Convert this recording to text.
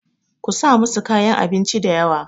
ku sa musu kayan abinci da yawa!